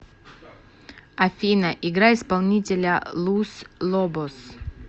афина играй исполнителя лус лобос